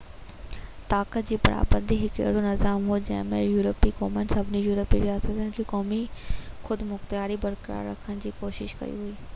طاقت جي برابري هڪ اهڙو نظام هو جنهن ۾ يورپي قومن سڀني يورپي رياستن کي قومي خودمختياري برقرار رکڻ جي ڪوشش ڪئي هئي